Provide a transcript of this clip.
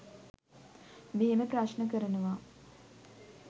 මෙහෙම ප්‍රශ්න කරනවා.